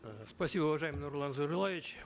э спасибо уважаемый нурлан зайроллаевич